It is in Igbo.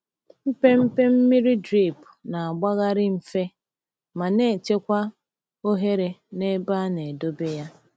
Mpempe mmiri drip na-agbagharị mfe ma na-echekwa ohere n’ebe a na-edobe ya.